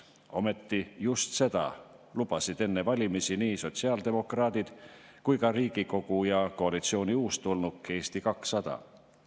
Ometi just seda lubasid enne valimisi nii sotsiaaldemokraadid kui ka Riigikogu ja koalitsiooni uustulnuk Eesti 200.